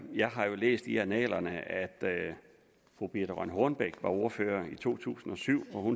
jeg har læst i annalerne at fru birthe rønn hornbech der var ordfører i to tusind og syv